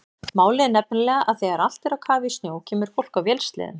Málið er nefnilega að þegar allt er á kafi í snjó kemur fólk á vélsleðum.